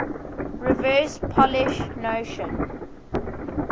reverse polish notation